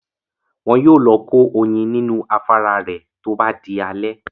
Wọn yóò lọ kó oyin nínú afárá rẹ̀ tó bá di alẹ́